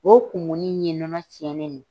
O kumuni in ye nɔnɔ tiɲɛnen